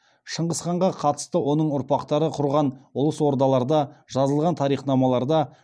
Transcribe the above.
шыңғысханға қатысты оның ұрпақтары құрған ұлыс ордаларда жазылған тарихнамаларда